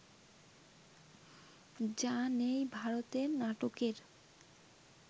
যা নেই ভারতে নাটকের